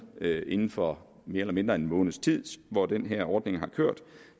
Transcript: inden for mere eller mindre en måneds tid hvor den her ordning har kørt